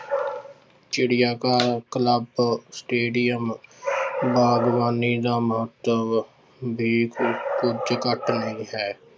ਚਿੜਿਆ ਘਰ club, stadium ਬਾਗਬਾਨੀ ਦਾ ਮਹੱਤਵ ਵੀ ਕ~ ਕੁੱਝ ਘੱਟ ਨਹੀਂ ਹੈ।